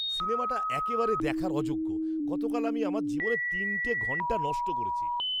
সিনেমাটা একেবারে দেখার অযোগ্য। গতকাল আমি আমার জীবনের তিনটে ঘন্টা নষ্ট করেছি।